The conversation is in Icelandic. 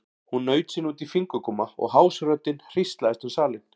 Hún naut sín út í fingurgóma og hás röddin hríslaðist um salinn.